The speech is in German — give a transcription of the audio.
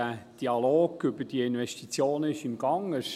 Der Dialog über die Investitionen ist im Gang.